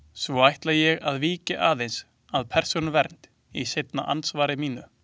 Svo ætla ég að víkja aðeins að Persónuvernd í seinna andsvari mínu.